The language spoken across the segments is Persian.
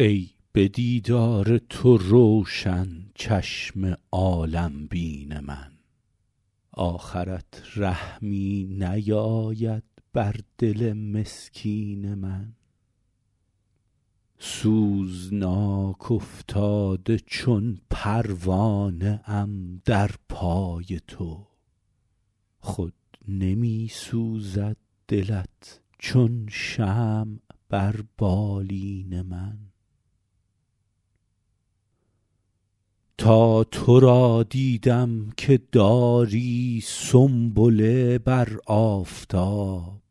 ای به دیدار تو روشن چشم عالم بین من آخرت رحمی نیاید بر دل مسکین من سوزناک افتاده چون پروانه ام در پای تو خود نمی سوزد دلت چون شمع بر بالین من تا تو را دیدم که داری سنبله بر آفتاب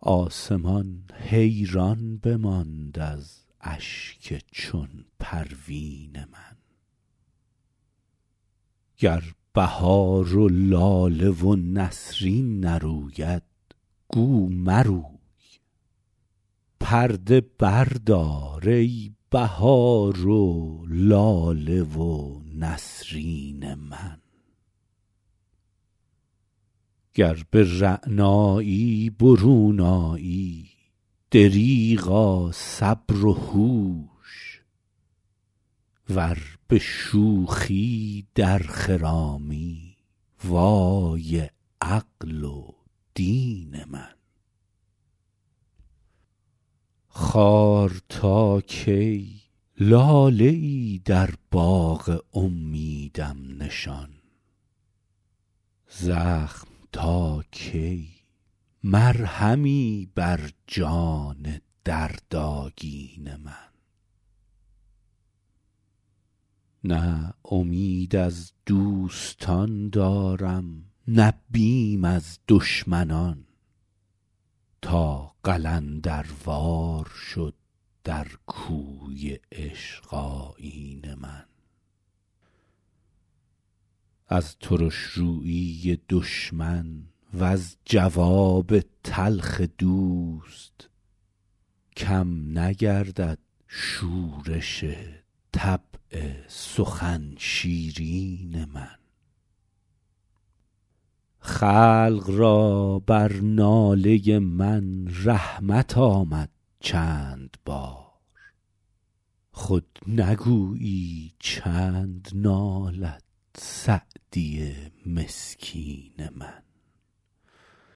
آسمان حیران بماند از اشک چون پروین من گر بهار و لاله و نسرین نروید گو مروی پرده بردار ای بهار و لاله و نسرین من گر به رعنایی برون آیی دریغا صبر و هوش ور به شوخی در خرامی وای عقل و دین من خار تا کی لاله ای در باغ امیدم نشان زخم تا کی مرهمی بر جان دردآگین من نه امید از دوستان دارم نه بیم از دشمنان تا قلندروار شد در کوی عشق آیین من از ترش رویی دشمن وز جواب تلخ دوست کم نگردد شورش طبع سخن شیرین من خلق را بر ناله من رحمت آمد چند بار خود نگویی چند نالد سعدی مسکین من